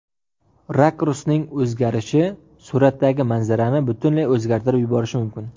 Rakursning o‘zgarishi suratdagi manzarani butunlay o‘zgartirib yuborishi mumkin.